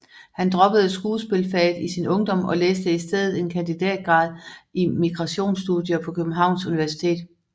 Han droppede skuespilfaget i sin ungdom og læste i stedet en kandidatgrad i migrationsstudier på Københavns Universitet